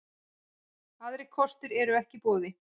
Aðrir kostir eru ekki í boði